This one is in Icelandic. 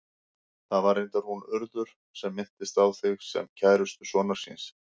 Það var reyndar hún Urður sem minntist á þig, sem kærustu sonar síns.